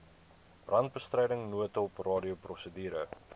brandbestryding noodhulp radioprosedure